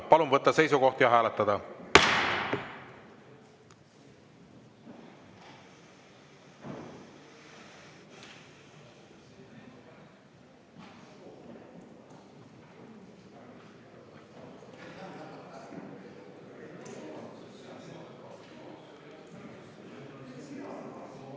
Palun võtta seisukoht ja hääletada!